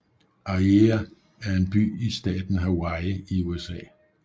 Aiea er en by i staten Hawaii i USA